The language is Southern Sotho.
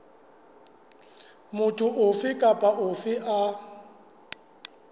motho ofe kapa ofe a